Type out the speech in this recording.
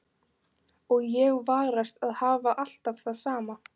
Og ég varast að hafa alltaf það sama.